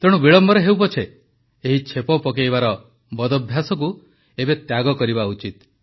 ତେଣୁ ବିଳମ୍ବରେ ହେଉ ପଛେ ଏହି ଛେପ ପକାଇବାର ବଦଭ୍ୟାସକୁ ଏବେ ତ୍ୟାଗ କରିବା ଉଚିତ